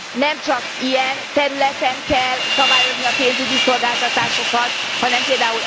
Nem csak ilyen területen kell szabályozni a pénzügyi szolgáltatásokat, hanem pl.